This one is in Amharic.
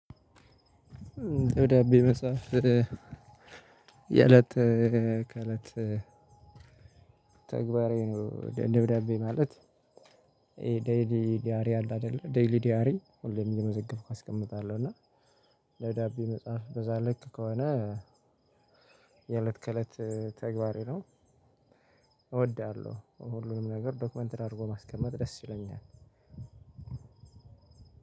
ደብዳቤ መጻፍ የለት ከለት ተግባሬ ነው። ደብዳቤ ማለት 'ዴይሊ ዲያሪ' አለ አይደል 'ዴይሊ ዲያሪ' ሁሌም እየመዘገብኩ አስቀምጣለሁ እና። ደብዳቤ መጻፍ በዛ ልክ ከሆነ የእለት ከእለት ተግባሬ ነው። እወዳለሁ ሁሉንም ነገር 'ዶክመንትድ' አድርጎ ማስቀመጥ ደስ ይለኛል።